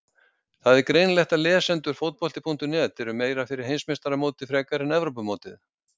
Það er greinilegt að lesendur Fótbolti.net eru meira fyrir Heimsmeistaramótið frekar en Evrópumótið.